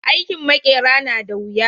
Aikin maƙera na da wuya